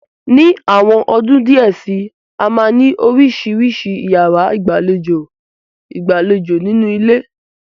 Ni àwọn ọdún díẹ̀ síi, a máa ni oríṣiríṣi yàrá ìgbàlejò ìgbàlódé nínú ilé.